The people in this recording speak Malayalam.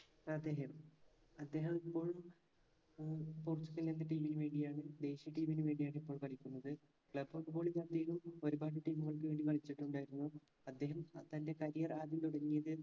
അദ്ദേഹം അദ്ദേഹമിപ്പോൾ ഉം പോർച്ചുഗൽ എന്ന team ന് വേണ്ടിയാണ് ദേശീയ team ന് വേണ്ടിയാണ് ഇപ്പോൾ കളിക്കുന്നത് club football champion ഉം ഒരുപാട് team കൾക്ക് വേണ്ടി കളിച്ചിട്ടുണ്ടായിരുന്നു അദ്ദേഹം തൻറെ career ആദ്യം തുടങ്ങിയത്